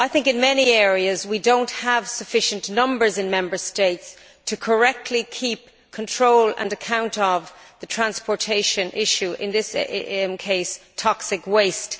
I think in many areas we do not have sufficient numbers in Member States to correctly keep control and account of the transportation issue, in this case of toxic waste.